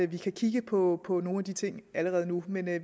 vi kan kigge på på nogle af de ting allerede nu men vi er